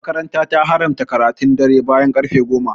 makaranta ta haramta karatun dare bayan karfe goma